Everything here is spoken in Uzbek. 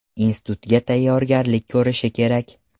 Institutga tayyorgarlik ko‘rishi kerak.